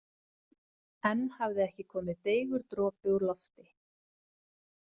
Enn hafði ekki komið deigur dropi úr lofti.